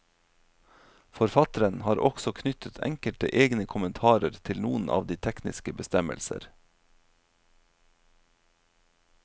Forfatteren har også knyttet enkelte egne kommentarer til noen av de tekniske bestemmelser.